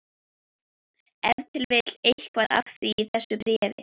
Ef til vill eitthvað af því í þessu bréfi.